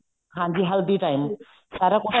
ਹਾਂਜੀ ਹਲਦੀ time ਸਾਰਾ ਕੁੱਝ